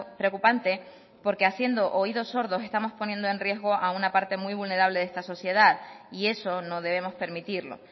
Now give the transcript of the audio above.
preocupante porque haciendo oídos sordos estamos poniendo en riesgo a una parte muy vulnerable de esta sociedad y eso no debemos permitirlo